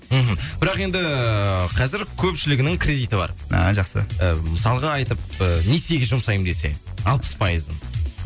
мхм бірақ енді ііі қазір көпшілігінің кредиті бар а жақсы ы мысалға айтып несиеге жұмсайын десе алпыс пайызын